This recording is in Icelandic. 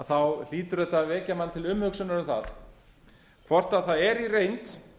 þá hlýtur þetta að vekja mann til umhugsunar um það hvort menn í reynd